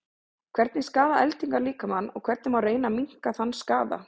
hvernig skaða eldingar líkamann og hvernig má reyna að minnka þann skaða